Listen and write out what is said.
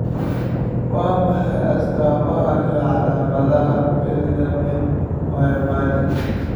Waa maxay astaamaha iyo calamadaha Bethlem miyobadi?